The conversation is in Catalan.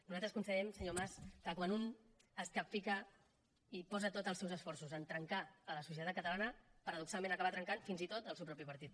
nosaltres considerem senyor mas que quan un es capfica i posa tots els seus esforços a trencar la societat catalana paradoxalment acaba trencant fins i tot el seu propi partit